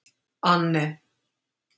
Anne